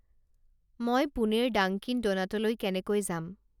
মই পুণেৰ ডাঙ্কিন ডোনাটলৈ কেনেকৈ যাম